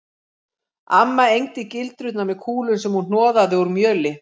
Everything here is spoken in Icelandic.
Amma egndi gildrurnar með kúlum sem hún hnoðaði úr mjöli